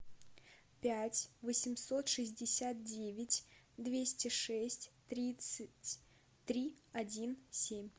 пять восемьсот шестьдесят девять двести шесть тридцать три один семь